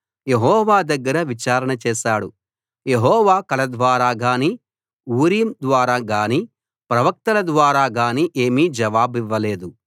యెహోవా దగ్గర విచారణ చేసాడు యెహోవా కల ద్వారా గానీ ఊరీం ద్వారా గానీ ప్రవక్తల ద్వారా గానీ ఏమీ జవాబివ్వలేదు